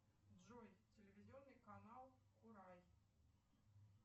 джой телевизионный канал курай